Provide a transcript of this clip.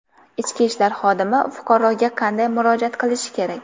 Ichki ishlar xodimi fuqaroga qanday murojaat qilishi kerak?.